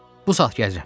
Bu saat gecəyəm.